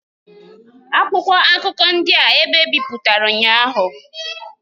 Akwụkwọ akụkọ ndị a ebe ebipụtara ụnyaahụ.